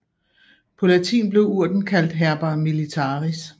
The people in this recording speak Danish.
På latin blev urten kaldt herba militaris